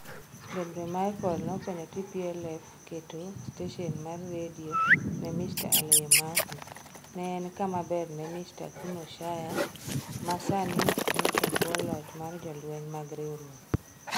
Debremichael nokonyo TPLF keto stesen mar redio Ne Mr. Alemayehu, ne en kama ber ne Mr. kuno Shire, ma sani ni e bwo loch mar jolweny mag riwruok.